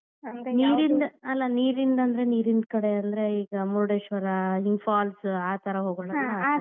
ಅಲ್ಲಾ ನೀರಿಂದ್ ಅಂದ್ರೆ ನೀರಿನ್ ಕಡೆ ಅಂದ್ರೆ ಈಗ ಮುರುಡೇಶ್ವರಾ ಹಿಂಗ್ falls ಆ ತರ ಹೋಗೋಣಾ .